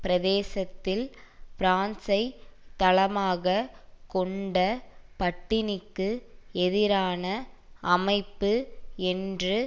பிரதேசத்தில் பிரான்சைத் தளமாக கொண்ட பட்டினிக்கு எதிரான அமைப்பு என்ற